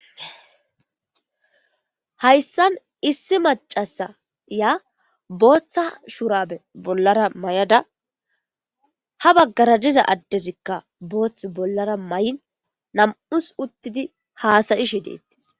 Hayssan issi macasiya booththa shuraabe bollara mayada ha baggara diza addezikka boothth bollara mayin nam7us uttidi haasayishe de7etes.